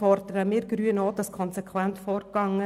Hier fordern auch wir Grünen, konsequent vorzugehen.